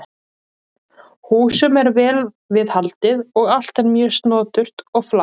Húsum er vel við haldið og allt er mjög snoturt og flatt.